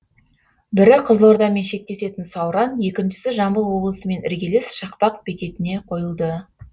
бірі қызылордамен шектесетін сауран екіншісі жамбыл облысымен іргелес шақпақ бекетіне қойылды